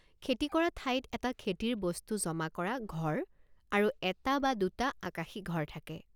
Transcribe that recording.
খেতি কৰা ঠাইত এটা খেতিৰ বস্তু জমা কৰা ঘৰ আৰু এটা বা দুটা আকাশী ঘৰ থাকে।